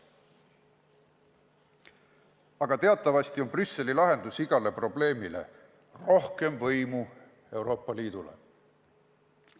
Aga teatavasti on Brüsseli lahendus igale probleemile: rohkem võimu Euroopa Liidule.